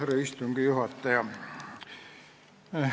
Härra istungi juhataja!